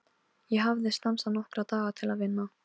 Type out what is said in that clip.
Ég hafði stansað nokkra daga til að vinna.